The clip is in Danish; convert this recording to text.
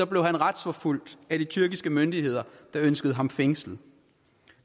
retsforfulgt af de tyrkiske myndigheder der ønskede ham fængslet